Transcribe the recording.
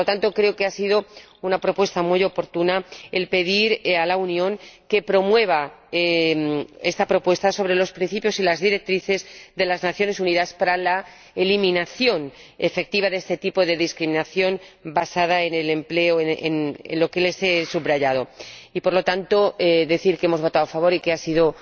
Creo que ha sido una iniciativa muy oportuna pedir a la Unión que promueva esta propuesta sobre los principios y las directrices de las Naciones Unidas para la eliminación efectiva de este tipo de discriminación basada en el empleo, como he subrayado y, por lo tanto, decir que hemos votado a favor y que ha sido